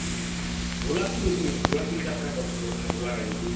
ଘୋଡା କେ ବାଷିବେନି ଘୋଡା ଗଡିକେ ଯାତ୍ରା କରୁଛନ ଲୋକ ଘୋଡା ଗାଡି ଥି